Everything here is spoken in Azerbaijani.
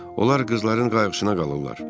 Onlar qızların qayğısına qalırlar.